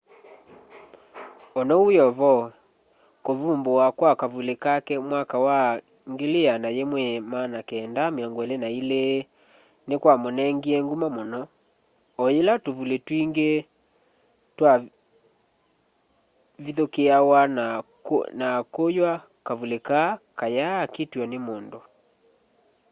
onou wiovo kuvumbuwa kwa kavuli kake mwaka wa 1922 ni kwamunengie nguma muno o yila tuvuli twingi twavithukiawa na kuywa kavuli kaa katyaakiitwa ni mundu